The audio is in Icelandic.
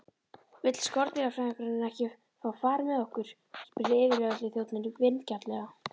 Vill skordýrafræðingurinn ekki fá far með okkur? spurði yfirlögregluþjónninn vingjarnlega.